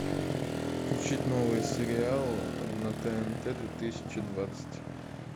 включить новый сериал на тнт две тысячи двадцать